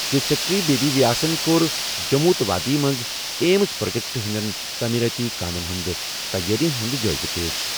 Chief secretary B B ویاسَن کوٚر جموں تہٕ وادی منٛز ایمز پروجیکٹَن ہٕننٛدیٚن تعمیٖرٲتی کامہِ ہُنٛد تَیٲرِین ہُنٛد جٲیزٕ۔